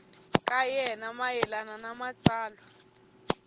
ka yena mayelana na matsalwa